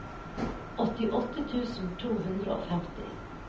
åttiåtte tusen to hundre og femti